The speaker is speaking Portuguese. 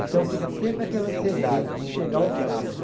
Então, fica sempre aquela ansiedade de chegar o sábado.